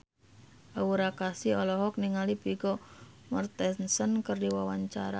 Aura Kasih olohok ningali Vigo Mortensen keur diwawancara